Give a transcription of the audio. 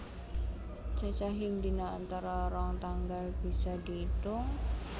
Cacahing dina antara rong tanggal bisa diitung